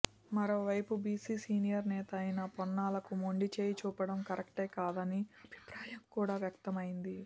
మరోవైపు BC senior నేత అయిన పొన్నాలకు మొండిచేయి చూపడం కరెక్ట్ కాదనే అభిప్రాయం కూడా వ్యక్తమైంది